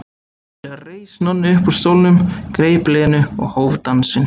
Skyndilega reis Nonni upp úr stólnum, greip Lenu og hóf dansinn.